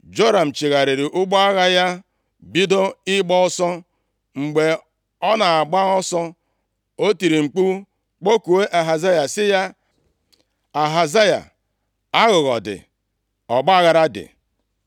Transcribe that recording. Joram chigharịrị ụgbọ agha ya bido ịgba ọsọ. Mgbe ọ na-agba ọsọ, o tiri mkpu kpọkuo Ahazaya sị ya, “Ahazaya, Aghụghọ dị, ọgbaaghara dị!”